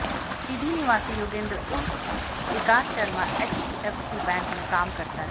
सीधी निवासी योगेंद्र उर्फ Vikas Sharma HDFC bank में काम करता है